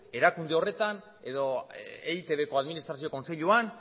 erakunde horretan edo eitbko administrazio kontseiluan